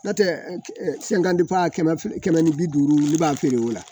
N'o tɛ sɛnkan kɛmɛ ni bi duuru olu b'a feere o la